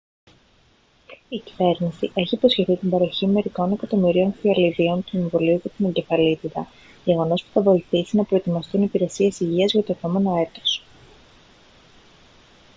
η κυβέρνηση έχει υποσχεθεί την παροχή μερικών εκατομμυρίων φιαλιδίων του εμβολίου για την εγκεφαλίτιδα γεγονός που θα βοηθήσει να προετοιμαστούν οι υπηρεσίες υγείας για το επόμενο έτος